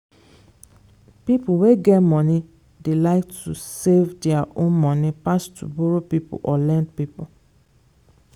people wey get money dey like to save their own money pass to borrow people or lend people.